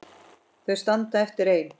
Þau standa eftir ein.